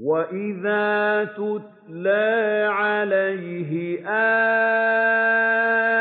وَإِذَا تُتْلَىٰ عَلَيْهِ